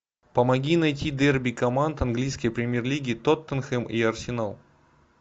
помоги найти дерби команд английской премьер лиги тоттенхэм и арсенал